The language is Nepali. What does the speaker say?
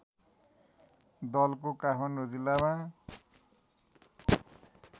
दलको काठमाडौँ जिल्लामा